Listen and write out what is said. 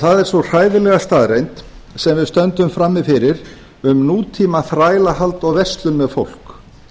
er sú hræðilega staðreynd sem við stöndum frammi fyrir um nútíma þrælahald og verslun með fólk